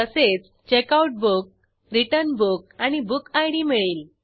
तसेच checkout book return book आणि book ID मिळेल